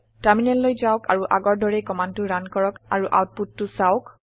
টাৰমিনেললৈ যাওক আৰু আগৰ দৰেই কমাণ্ডটো ৰান কৰক আৰু আওতপুতটো চাওঁক